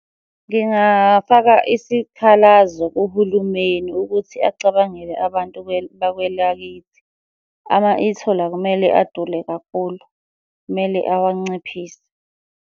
Ngingafaka isikhalazo kuhulumeni ukuthi acabangele abantu bakwelakithi. Ama-e-toll akumele adule kakhulu, kumele awanciphise.